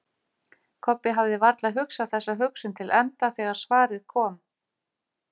Kobbi hafði varla hugsað þessa hugsun til enda þegar svarið kom.